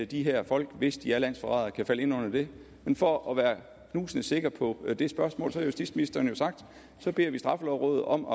de her folk hvis de er landsforrædere kan falde ind under det men for at være knusende sikker på det spørgsmål har justitsministeren sagt at så beder vi straffelovrådet om